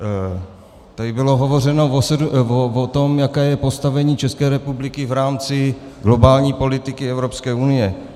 Tady bylo hovořeno o tom, jaké je postavení České republiky v rámci globální politiky Evropské unie.